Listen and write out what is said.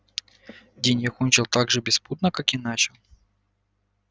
день я кончил так же беспутно как и начал